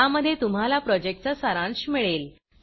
ज्यामध्ये तुम्हाला प्रॉजेक्टचा सारांश मिळेल